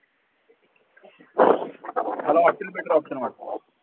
मला hotel better option वाटतं